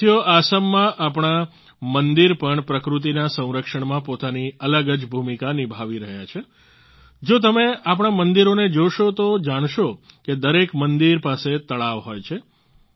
સાથીઓ આસામમાં આપણા મંદિર પણ પ્રકૃતિના સંરક્ષણમાં પોતાની અલગ જ ભૂમિકા નિભાવી રહ્યા છે જો તમે આપણા મંદિરોને જોશો તો જાણશો કે દરેક મંદિર પાસે તળાવ હોય છે